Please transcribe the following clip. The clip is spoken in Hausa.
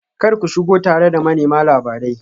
Kar ku shigo tare da manema labarai